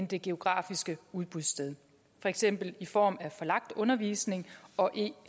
det geografiske udbudssted for eksempel i form af forlagt undervisning og e